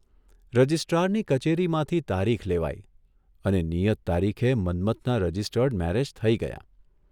રજિસ્ટ્રારની કચેરીમાંથી તારીખ લેવાઇ અને નિયત તારીખે મન્મથના રજિસ્ટર્ડ મેરેજ થઇ ગયા.